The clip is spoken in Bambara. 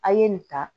A' ye nin ta